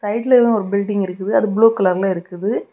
சைடுல எல்லா ஒரு பில்டிங் இருக்குது அது ப்ளூ கலர்ல இருக்குது.